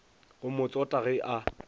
go mo tsota ge a